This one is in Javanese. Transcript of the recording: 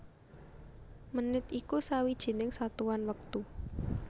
Menit iku sawijining satuan wektu